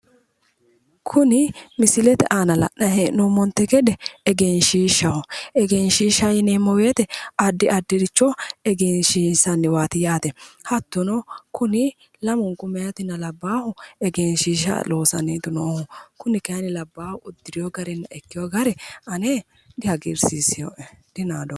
Kuni misilete aana la'nayi hee'noommonte gede egenshiishshaho. Egenshiishsha yineemmo woyite addi addiricho egenshiinshanniwaati yaate. Hattono Kuni lamunku mehaatinna abbahu egenshiishsha loossanniiti noohu. Kuni kayinni labbaahu uddireyo garinna ikkeyo gari ane dihagiirsiiseyoe dinaadoomma.